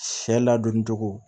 Sɛ ladonni cogo